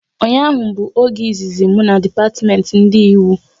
Ụnyaahụ bụ oge izizi m na depatiment ndị Ịwu